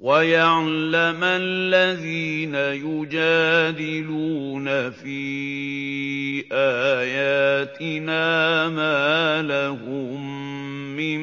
وَيَعْلَمَ الَّذِينَ يُجَادِلُونَ فِي آيَاتِنَا مَا لَهُم مِّن